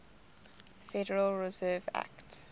federal reserve act